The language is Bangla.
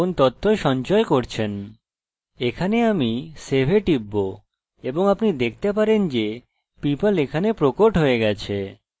এখানে আমি save এ টিপব এবং আপনি দেখতে পারেন যে people এখানে প্রকট হয়ে গেছে